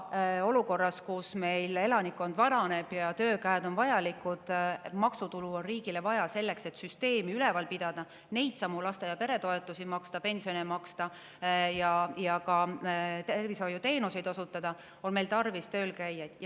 Aga olukorras, kus meie elanikkond vananeb, töökäed on vajalikud ja maksutulu on riigile vaja selleks, et süsteemi üleval pidada, neidsamu laste‑ ja peretoetusi ning pensione maksta ja ka tervishoiuteenuseid osutada, on meil tarvis töölkäijaid.